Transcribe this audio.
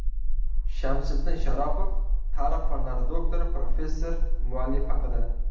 Shamsiddin Sharopov, tarix fanlari doktori, professor Muallif haqida.